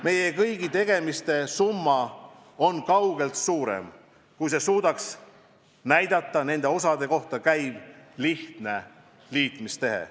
Meie kõigi tegemiste summa on kaugelt suurem, kui annaks kokku nende osade lihtsa liitmise tehe.